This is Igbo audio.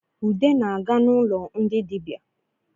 Ude na-aga n’ụlọ ndị dịbia